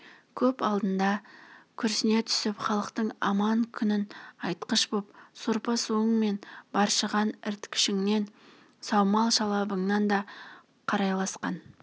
көп алдында күрсіне түсіп халықтың аман күнін айтқыш бол сорпа-суың мен быршыған іркітіңнен саумал-шалабыңнан да қарайласқан